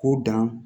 K'u dan